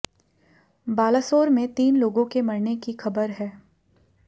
बालासोर में तीन लोगों के मरने की ख़बर है